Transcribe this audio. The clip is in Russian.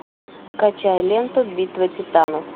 скачай ленту битва титанов